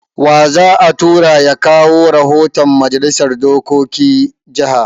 Wa za a tura ya kawo rahoton Majalisar dokokin jaha?